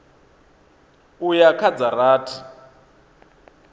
u ya kha dza rathi